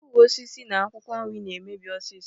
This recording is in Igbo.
Mkpụrụosisi na akwụkwọ nri na-emebi ọsịsọ.